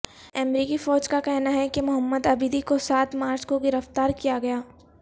امریکی فوج کا کہنا ہے کہ محمد عبیدی کو سات مارچ کوگرفتار کیا گیا